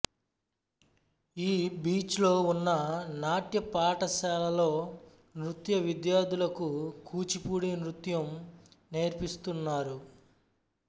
ఈ బీచ్ లో ఉన్న నాట్య పాఠశాలలో నృత్య విద్యార్థులకు కూచిపూడి నృత్యము నేర్పిస్తున్నారు